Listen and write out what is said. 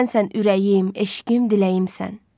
Sənsən ürəyim, eşqim, diləyimsən.